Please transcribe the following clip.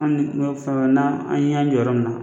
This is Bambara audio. Ali ni dɔ bɛ fara n'an y'an jɔ yɔrɔ min na.